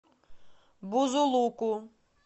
бузулуку